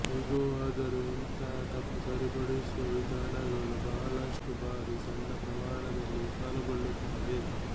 ಹೇಗೇ ಆದರೂ ಇಂತಹ ತಪ್ಪು ಸರಿಪಡಿಸುವ ವಿಧಾನಗಳು ಬಹಳಷ್ಟು ಬಾರಿ ಸಣ್ಣ ಪ್ರಮಾಣದಲ್ಲಿ ವಿಫಲಗೊಳ್ಳುತ್ತವೆ